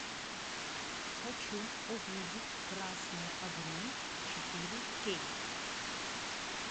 хочу увидеть красные огни четыре кей